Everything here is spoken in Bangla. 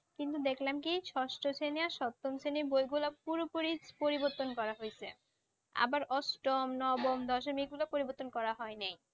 কিন্তু দেখলাম কি ষষ্ঠ শ্রেণিয়ার সপ্তম শ্রেণী বইগুলা পুরোপুরি পরিবর্তন করা হয়েছে আবার অষ্টম নবম দশম এগুলো পরিবর্তন করা হয়নি